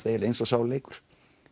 eiginlega eins og sá leikur